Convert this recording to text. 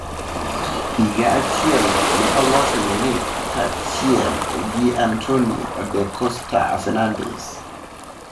Higa achielno, ne oloso UNITA kachiel gi Antonio da Costa Fernandes.